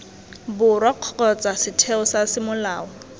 borwa kgotsa setheo sa semolao